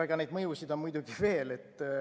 Aga neid mõjusid on muidugi veel.